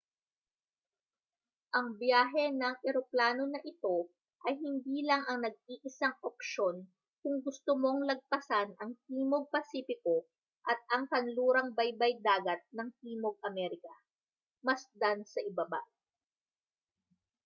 ang biyahe ng eroplano na ito ay hindi lang ang nag-iisang opsyon kung gusto mong lagpasan ang timog pasipiko at ang kanlurang baybay-dagat ng timog amerika. masdan sa ibaba